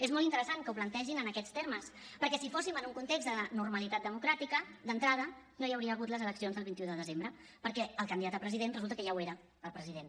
és molt interessant que ho plantegin en aquests termes perquè si fóssim en un context de normalitat democràtica d’entrada no hi hauria hagut les eleccions del vint un de desembre perquè el candidat a president resulta que ja ho era el president